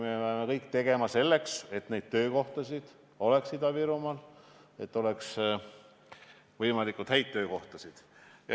Me peame tegema kõik selleks, et Ida-Virumaal oleks töökohti ja et seal oleks võimalikult häid töökohti.